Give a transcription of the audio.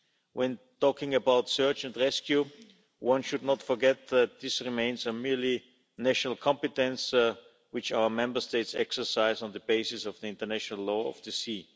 When talking about search and rescue, one should not forget that this remains a merely national competence which our Member States exercise on the basis of the international law of the sea.